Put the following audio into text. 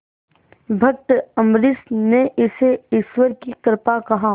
भक्त अम्बरीश ने इसे ईश्वर की कृपा कहा